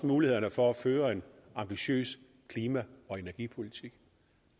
mulighederne for at føre en ambitiøs klima og energipolitik